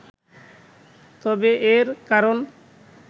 তবে এর কারণ